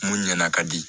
Mun ɲɛna ka di